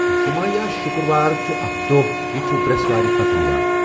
جُمعہ یا شُکرٕٛوار چھُ اَکھ دۄہ یہِ چھُ برٛؠسوار پتہ یِوان۔